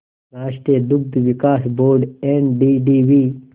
राष्ट्रीय दुग्ध विकास बोर्ड एनडीडीबी